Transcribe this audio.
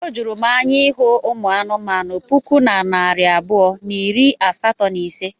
Ọ juru m anya ịhụ ụmụ anụmanụ puku na narị abụọ na iri asatọ na ise.